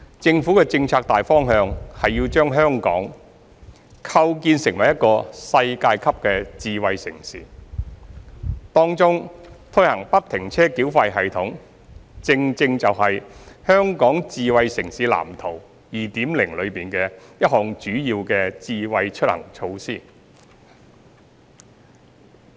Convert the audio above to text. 政府的政策大方向是要把香港構建成為一個世界級的智慧城市，當中推行不停車繳費系統正正就是《香港智慧城市藍圖 2.0》中一項主要的"智慧出行"措施。